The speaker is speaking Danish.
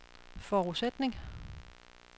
forudsætning